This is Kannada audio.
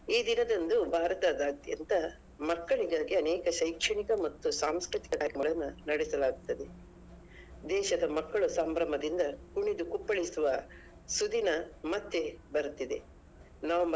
ಈ ದಿನದಂದು ಭಾರತದಾದ್ಯಂತ ಮಕ್ಕಳಿಗಾಗಿ ಅನೇಕ ಶೈಕ್ಷಣಿಕ ಮತ್ತು ಸಾಂಸ್ಕೃತಿಕ ಕಾರ್ಯಕ್ರಮಗಳನ್ನ ನಡೆಸಲಾಗುತ್ತದೆ ದೇಶದ ಮಕ್ಕಳು ಸಂಭ್ರಮದಿಂದ ಕುಣಿದು ಕುಪ್ಪಳಿಸುವ ಸುದಿನ ಮತ್ತೆ ಬರುತ್ತಿದೆ.